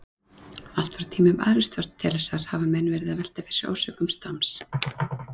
Allt frá tímum Aristótelesar hafa menn verið að velta fyrir sér orsökum stams.